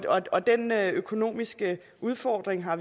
og den økonomiske udfordring har